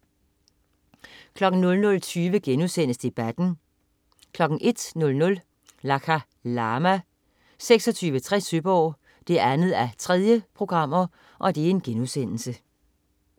00.20 Debatten* 01.00 Lakha Lama 2860 Søborg 2:3*